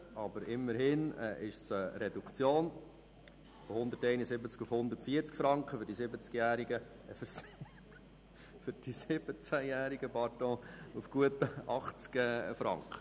Aber immerhin ist es eine Reduktion von 171 auf 140 Franken und für die 17-Jährigen auf gut 80 Franken.